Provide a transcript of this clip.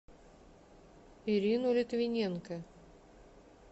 ирину литвиненко